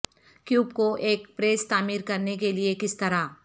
cube کو ایک press تعمیر کرنے کے لئے کس طرح